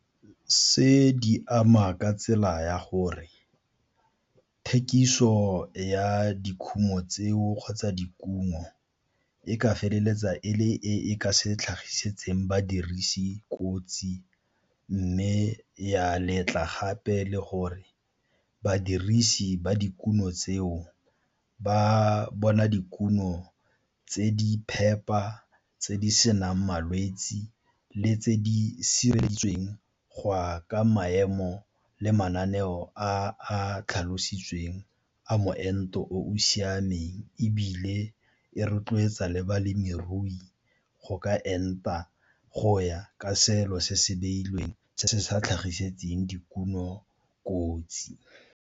Se di ama ka tsela ya gore thekiso ya dikhumo tseo kgotsa dikuno e ka feleletsa e le e e ka se tlhagisitseng badirisi kotsi, mme ya letla gape le gore badirisi ba dikuno tseo ba bona dikuno tse di phepa tse di senang malwetse le tse di sireleditsweng go ya ka maemo le mananeo a tlhalositsweng a moento o o siameng, ebile e rotloetsa le balemirui go ka enta go ya ka selo se se beilweng se se sa tlhagisetseng dikuno kotsi.